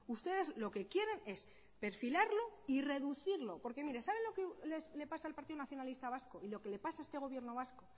ustedes lo que quieren es perfilarlo y reducirlo porque mire sabe lo que le pasa al partido nacionalista vasco y lo que le pasa a este gobierno vasco